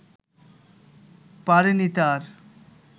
পারেনি তার